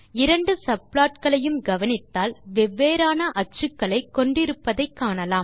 இரண்டு சப்ளாட் களையும் கவனித்தால் வெவ்வேறான அச்சுக்களை கொண்டு இருப்பதை காணலாம்